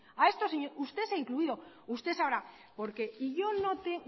usted se ha incluido usted sabrá porqué yo no te